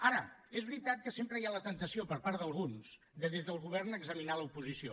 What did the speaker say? ara és veritat que sempre hi ha la temptació per part d’alguns de des del govern examinar l’oposició